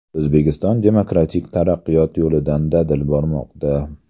O‘zbekiston demokratik taraqqiyot yo‘lidan dadil bormoqda.